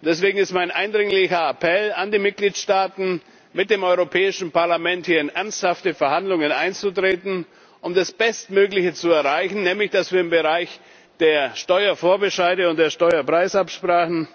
Deswegen mein eindringlicher Appell an die Mitgliedsstaaten, mit dem Europäischen Parlament hier in ernsthafte Verhandlungen einzutreten, um das Bestmögliche zu erreichen, nämlich dass wir im Bereich der Steuervorbescheide und der Steuerpreisabsprachen